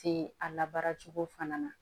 Te a labaara cogo fana na